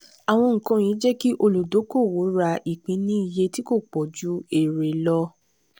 àwọn nǹkan yìí jẹ́ kí olùdókòwò ra ìpín ní iye tí kò pọ̀ ju èrè lọ.